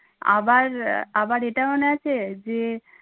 আবার আহ আবার এটা মনে আছে যে